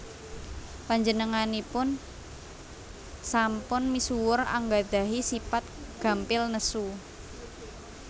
Panjenengaipun sampun misuwur anggadhahi sipat gampil nesu